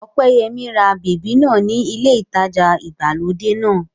Ọpẹ́yẹmí ra bèbí náà ní ilé ìtajà ìgbàlódé náà